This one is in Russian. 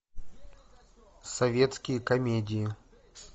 советские комедии